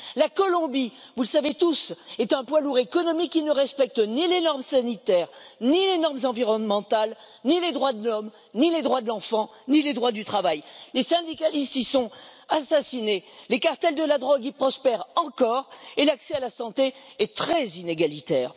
La Colombie, vous le savez tous, est un poids lourd économique qui ne respecte ni les normes sanitaires, ni les normes environnementales, ni les droits de l'homme, ni les droits de l'enfant, ni le droit du travail. Les syndicalistes y sont assassinés, les cartels de la drogue y prospèrent encore et l'accès à la santé y est très inégalitaire.